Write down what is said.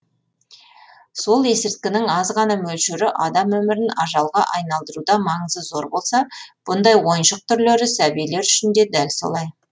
сол есірткінің аз ғана мөлшері адам өмірін ажалға айналдыруда маңызы зор болса бұндай ойыншық түрлері сәбилер үшін де дәл солай